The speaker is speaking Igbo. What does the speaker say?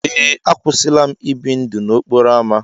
Ee, akwụsịla m ibi ndụ n'okporo ámá.